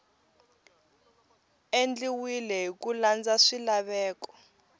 endliwile hi ku landza swilaveko